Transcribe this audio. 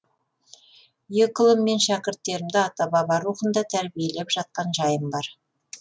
екі ұлым мен шәкірттерімді ата баба рухында тәрбиелеп жатқан жайым бар